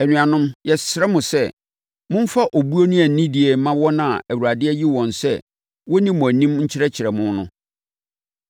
Anuanom, yɛsrɛ mo sɛ, momfa obuo ne anidie mma wɔn a Awurade ayi wɔn sɛ wɔnni mo anim nkyerɛkyerɛ mo no.